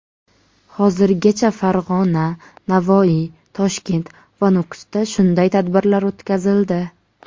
Hozirgacha Farg‘ona, Navoiy, Toshkent va Nukusda shunday tadbirlar o‘tkazildi.